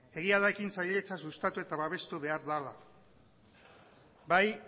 egia da ekintzailetza sustatu eta babestu behar dela bai